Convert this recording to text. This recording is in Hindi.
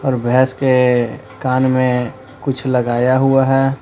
और भैंस के कान में कुछ लगाया हुआ है।